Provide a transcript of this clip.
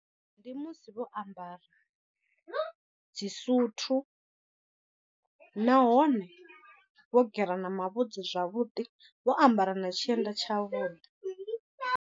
Ndi musi vho ambara dzisuthu, nahone vho gera na mavhudzi zwavhuḓi vho ambara na tshienda tshavhuḓi.